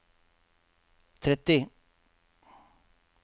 tretti